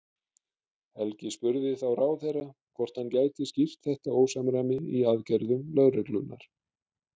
Helgi spurði þá ráðherra hvort hann gæti skýrt þetta ósamræmi í aðgerðum lögreglunnar?